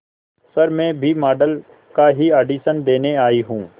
sir मैं भी model का ही ऑडिशन देने आई हूं